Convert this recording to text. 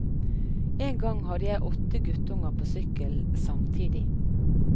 En gang hadde jeg åtte guttunger på sykkelen samtidig.